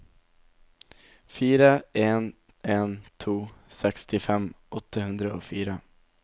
fire en en to sekstifem åtte hundre og fire